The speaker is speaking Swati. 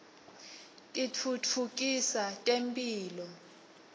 titfutfukisa temphilo